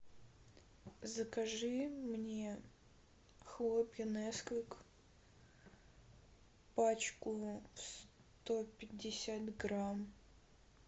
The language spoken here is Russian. закажи мне хлопья несквик пачку сто пятьдесят грамм